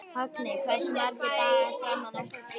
Högni, hversu margir dagar fram að næsta fríi?